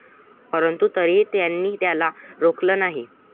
परंतु तरीही त्यांनी त्याला रोखलं नाही